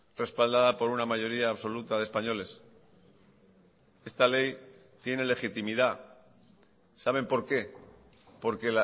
respaldada por una mayoría absoluta de españoles esta ley tiene legitimidad saben por qué porque